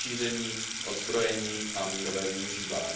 nešíření, odzbrojení a mírové využívání.